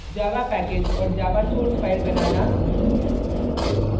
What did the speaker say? java package और java source file बनाना